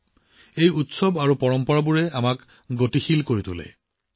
আমাৰ এই উৎসৱ আৰু পৰম্পৰাই আমাক গতিশীল কৰি তোলে